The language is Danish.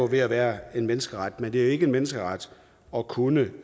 ved at være en menneskeret men det er ikke en menneskeret at kunne